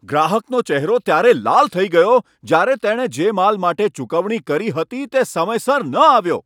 ગ્રાહકનો ચહેરો ત્યારે લાલ થઈ ગયો જ્યારે તેણે જે માલ માટે ચૂકવણી કરી હતી તે સમયસર ન આવ્યો.